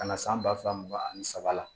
Ka na san ba fila ba ni saba la